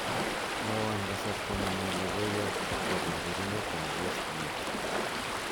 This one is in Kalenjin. mwowon kasarta nemi logoiyot agopo burburenet ab westgate